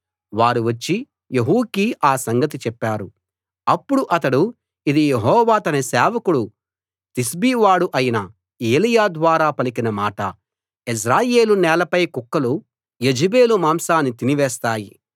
వారు వచ్చి యెహూకి ఆ సంగతి చెప్పారు అప్పుడు అతడు ఇది యెహోవా తన సేవకుడూ తిష్బీ వాడూ అయిన ఏలీయా ద్వారా పలికిన మాట యెజ్రెయేలు నేలపై కుక్కలు యెజెబెలు మాంసాన్ని తిని వేస్తాయి